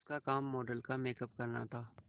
उसका काम मॉडल का मेकअप करना था